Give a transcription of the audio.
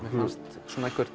mér fannst